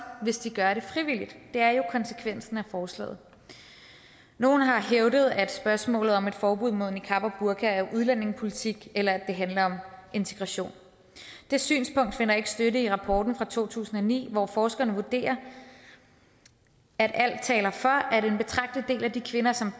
hvis de gør det frivilligt det er jo konsekvensen af forslaget nogle har hævdet er spørgsmålet om et forbud mod niqab og burka er udlændingepolitik eller handler om integration det synspunkt finder ikke støtte i rapporten fra to tusind og ni hvor forskerne vurderer at alt taler for at en betragtelig del af de kvinder som